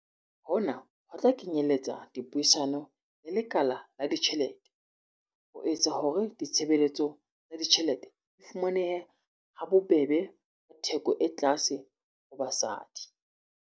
Hona ho tla kenyeletsa dipuisano le lekala la ditjhelete ho etsa hore ditshebeletso tsa ditjhelete di fumanehe ha bobebe ka theko e tlase ho basadi.